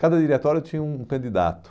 Cada diretório tinha um candidato.